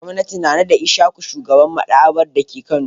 Gwamnati na naɗa Isyaku shugaban maɗaba'ar dake Kano.